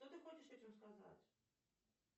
что ты хочешь этим сказать